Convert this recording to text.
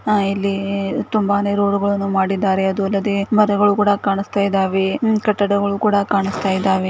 ಹಾ ಇಲ್ಲಿ ತುಂಬಾನೇ ರೋಡ್ಗ ಳನ್ನು ಮಾಡಿದ್ದಾರೆ ಅದು ಅಲ್ಲದೆ ಮರಗಳನ್ನು ಕೂಡ ಕಾಣಿಸುತ್ತಿದೆ ಕಟ್ಟಡಗಳು ಕೂಡ ಕಾಣಸ್ತಾ ಇದ್ದಾವೆ .